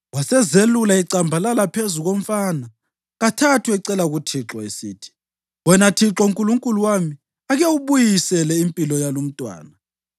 Wasezelula ecambalala phezu komfana kathathu ecela kuThixo, esithi, “Wena Thixo Nkulunkulu wami, ake ubuyisele impilo yalumntwana!”